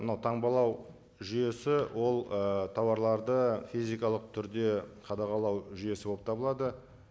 мынау таңбалау жүйесі ол ы тауарларды физикалық түрде қадағалау жүйесі болып табылады